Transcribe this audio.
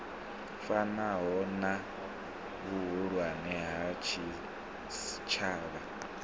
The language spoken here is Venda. fanaho na vhuhulwane ha tshitshavha